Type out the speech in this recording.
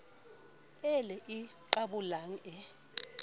e le e qabolang e